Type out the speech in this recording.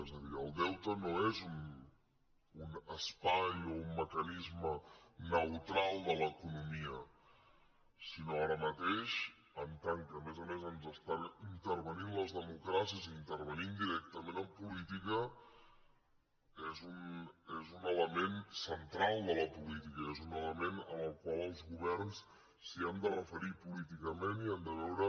és a dir el deute no és un espai o un mecanisme neutral de l’economia sinó que ara mateix en tant que a més a més ens intervé les democràcies i intervé directament en política és un element central de la política i és un element al qual els governs s’han de referir políticament i han de veure